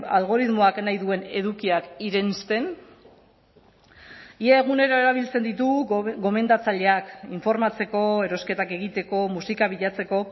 algoritmoak nahi duen edukiak irensten ia egunero erabiltzen ditugu gomendatzaileak informatzeko erosketak egiteko musika bilatzeko